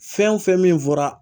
Fɛn o fɛn min fɔra